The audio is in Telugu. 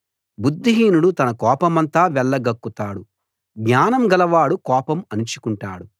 బుద్ధిహీనుడు తన కోపమంతా వెళ్ళగక్కుతాడు జ్ఞానం గలవాడు కోపం అణచుకుంటాడు